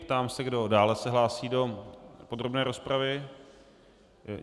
Ptám se, kdo dále se hlásí do podrobné rozpravy.